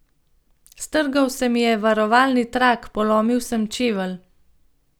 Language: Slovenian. Strgal se mi je varovalni trak, polomil sem čevelj.